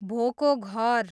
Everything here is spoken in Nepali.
भोको घर